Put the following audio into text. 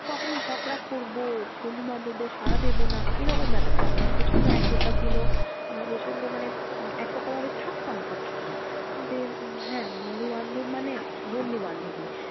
কখনো ঝগড়া করবো, বন্ধু বান্ধবদের সারা দেব না এরকম ব্যাপারটা ছিল না, প্রচন্ড একতা ছিল। আমরা প্রচন্ড মানে একতা ভাবে থাকতাম সবসময়। যে উম হ্যাঁ বন্ধু বান্ধব মানে বন্ধু বান্ধবই